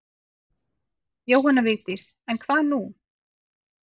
Jóhanna Vigdís en hvað nú?